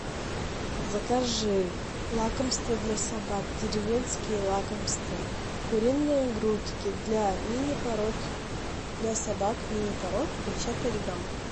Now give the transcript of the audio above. закажи лакомство для собак деревенские лакомства куриные грудки для мини пород для собак мини пород пятьдесят пять грамм